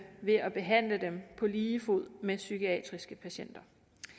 ved at behandle dem på lige fod med psykiatriske patienter